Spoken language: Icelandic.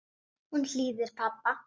Hún hlýðir pabba.